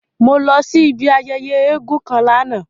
Mo lọ si ibi ayẹyẹ èègún kan lana.